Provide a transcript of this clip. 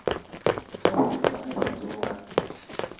kha vhathu vhane vha dzula